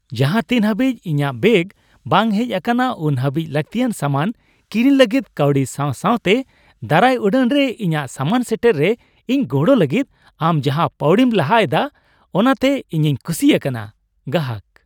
ᱡᱟᱦᱟᱸ ᱛᱤᱱ ᱦᱟᱹᱵᱤᱡ ᱤᱧᱟᱹᱜ ᱵᱮᱜᱽ ᱵᱟᱝ ᱦᱮᱡ ᱟᱠᱟᱱᱟ, ᱩᱱ ᱦᱟᱹᱵᱤᱡ ᱞᱟᱹᱠᱛᱤᱭᱟᱱ ᱥᱟᱢᱟᱱ ᱠᱤᱨᱤᱧ ᱞᱟᱹᱜᱤᱫ ᱠᱟᱹᱣᱰᱤ ᱥᱟᱣ ᱥᱟᱣᱛᱮ ᱫᱟᱨᱟᱭ ᱩᱰᱟᱹᱱ ᱨᱮ ᱤᱧᱟᱜ ᱥᱟᱢᱟᱱ ᱥᱮᱴᱮᱨ ᱨᱮ ᱤᱧ ᱜᱚᱲᱚ ᱞᱟᱹᱜᱤᱫ ᱟᱢ ᱡᱟᱦᱟᱸ ᱯᱟᱹᱣᱲᱤᱢ ᱞᱟᱦᱟ ᱮᱫᱟ, ᱚᱱᱟᱛᱮ ᱤᱧᱤᱧ ᱠᱩᱥᱤ ᱟᱠᱟᱱᱟ᱾ (ᱜᱟᱦᱟᱠ)